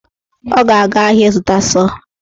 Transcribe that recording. Ọ ga-aga ahịa ịzụta sọọ